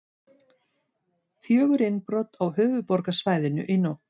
Fjögur innbrot á höfuðborgarsvæðinu í nótt